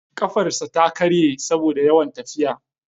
Kafarsa ta karye saboda yawan tafiya.